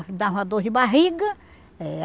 Me dava uma dor de barriga.